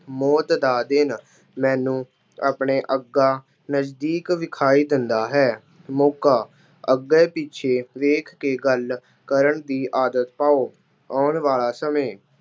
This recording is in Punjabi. ਮੌਤ ਦਾ ਦਿਨ- ਮੈਨੂੰ ਆਪਣੇ ਅੱਗਾ ਨਜ਼ਦੀਕ ਵਿਖਾਈ ਦਿੰਦਾ ਹੇ। ਮੌਕਾ- ਅੱਗੇ ਪਿੱਛੇ ਵੇਖ ਕੇ ਗੱਲ ਕਰਨ ਦੀ ਆਦਤ ਪਾਉ। ਆਉਣ ਵਾਲਾ ਸਮੇਂ